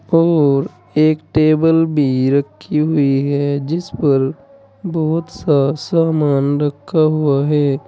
और एक टेबल भी रखी हुई है जिस पर बहुत सा सामान रखा हुआ है।